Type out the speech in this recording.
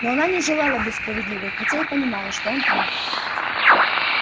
но она не желала быть справедливой хотя и понимала что он прав